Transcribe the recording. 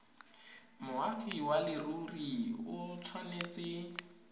moagi wa leruri o tshwanetse